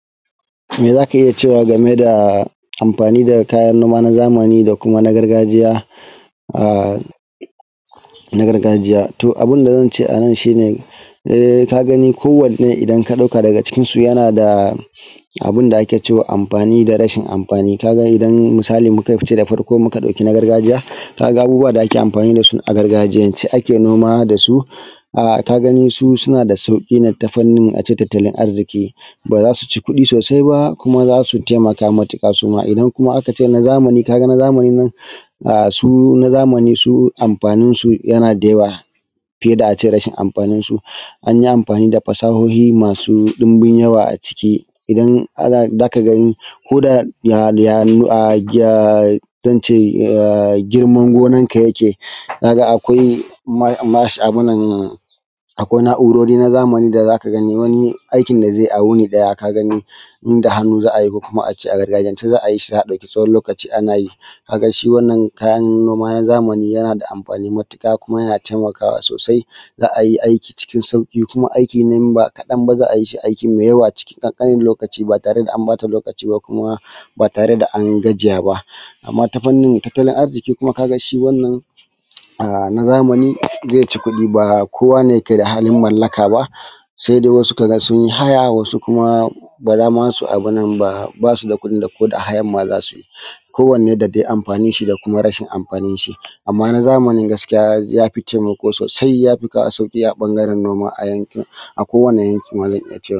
Mai zaka iya cewa game da amfani da kayan noma na zamani da kuma na gargajiya, a na gargajiya to abin da zan ce anan shi ne, e kaga gani kowani idan ka ɗauka daga cikin su yana da abunda ake cewa amfani da rashi amfani ka ga idan misali muka ce da farko in ka ɗauki na gargajiya ga abubuwan da ake amfani da su a gargajiyance ake noma da su a kagani su suna da sauƙi ne ta fannin a ce tattalin arziki ba za su ci kuɗi sosai ba kuma zasu taimaka matuƙa suma idan kuma aka ce na zamani kaga na zamani nan a su na zamani su amfanin su yana da yawa fiye da a ce rashin amfanin su anyi amfani da fasahohi masu ɗimbin yawa a ciki idan ana zaka gan koda ya ya zance ya girman gonan yaka ka ga akwai mash abun nan akwai na`urori na zamani da zaka gani wani aikin da zai yi a wuni ɗaya ka gani inda hannu za a yi ko kuma a ce a gargajiyance za a yi sai ya ɗauki tsawon lokaci ana yi ka gashi wannan kayan noma na zamani yana da amfani matuƙa kuma yana taimakawa sosai za ayi aikin cikin sauƙi kuma za ayi aiki ba kaɗan ba za ayi shi cikin ƙanƙanin lokaci ba tare da an ɓata lokaci ko kuma ba tare da an gajiya ba amma ta fannin tattalin arziki kuma ka ga wannan a na zamani zai ci kuɗi ba kowa ne yake da halin mallaka ba sai dai wasu ka ga sun yi haya wasu kuma ba zama su abunnan ba su ma ba su da kuɗin da ko da hayan ma za suyi kowanne da dai amfanin shi da kuma rashin amfanin shi amma na zamanin gaskiya yafi taimako sosai ya fi kawo taimako a ɓangaren noma.